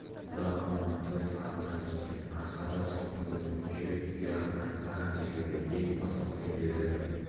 да аламанды сағынған екен арқа да жылқы дүбірін жүйрік тұяғын аңсаған секілді ең бастысы елдің